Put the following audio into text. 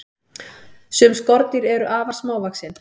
sum skordýr eru afar smávaxin